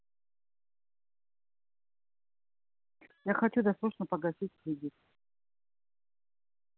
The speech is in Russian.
я хочу досрочно погасить кредит